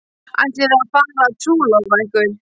Ætlið þið að fara að trúlofa ykkur?